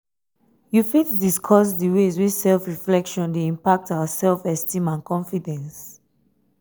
you fit discuss di ways wey self-reflection dey impact our self-esteem and confidence?